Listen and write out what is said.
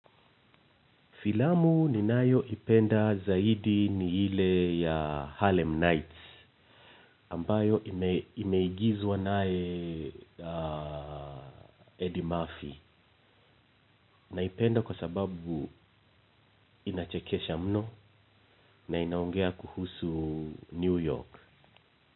Filamu ninayoipenda zaidi ni ile ya Harlem Nights ambayo imeigizwa naye Eddie Murphy naipenda kwa sababu inachekesha mno na inaongea kuhusu New York.